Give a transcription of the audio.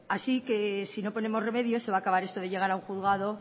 así que si no ponemos remedio se va a acabar esto de llegar a un juzgado